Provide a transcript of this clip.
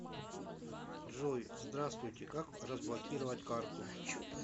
джой здраствуйте как разблокировать карту